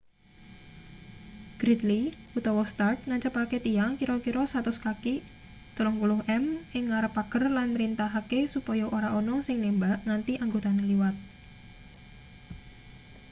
gridley utawa stark nancepake tiang kira-kira 100 kaki 30 m ing ngarep pager lan mrintahake supaya ora ana sing nembak nganti anggotane liwat